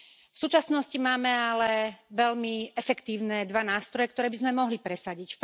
V súčasnosti však máme veľmi efektívne dva nástroje, ktoré by sme mohli presadiť.